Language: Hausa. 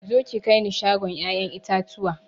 Zo ki kaini shagon ƴaƴan itatuwa